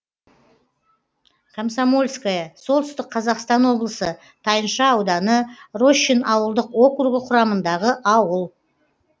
комсомольское солтүстік қазақстан облысы тайынша ауданы рощин ауылдық округі құрамындағы ауыл